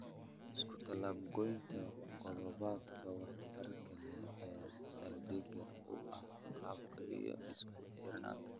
Iskutallaab-goynta qodobbada waxtarka leh ee saldhigga u ah agabka iyo isku xirnaanta